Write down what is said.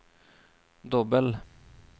dobbel